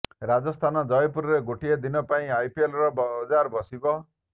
ରାଜସ୍ଥାନ ଜୟପୁରରେ ଗୋଟିଏ ଦିନ ପାଇଁ ଆଇପିଏଲ ବଜାର ବସିବ